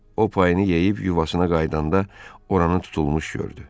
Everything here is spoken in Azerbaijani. O payını yeyib yuvasına qayıdanda oranı tutulmuş gördü.